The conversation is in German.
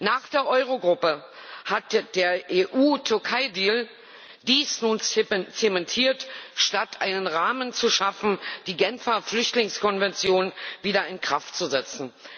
Nach der Euro Gruppe hat der EU Türkei Deal dies nun zementiert, statt einen Rahmen zu schaffen, die Genfer Flüchtlingskonvention wieder in Kraft zu setzen.